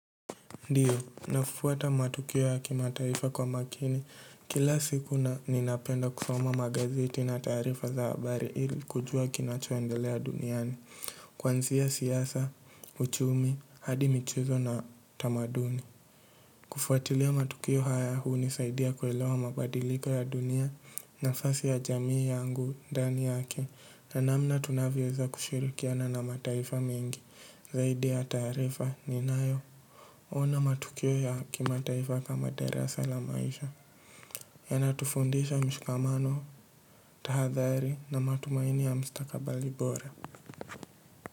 Ndiyo, nafuata matukio ya kimataifa kwa makini, kila siku na ninapenda kusoma magazeti na taarifa za habari ili kujua kinachoendelea duniani, kuanzia siasa, uchumi, hadi michuzo na tamaduni. Kufuatilia matukio haya hunisaidia kuelewa mabadiliko ya dunia nafasi ya jamii yangu ndani yake na namna tunavyoweza kushirikiana na mataifa mengi zaidi ya taarifa ninayo. Ona matukio ya kimataifa kama darasa la maisha. Yanatufundisha mshikamano, tahadhari na matumaini ya mustakabali bora.